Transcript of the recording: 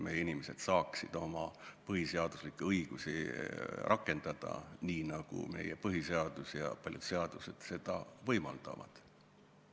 Meie inimesed peaksid saama oma põhiseaduslikke õigusi rakendada nii, nagu meie põhiseadus ja paljud seadused seda võimaldavad.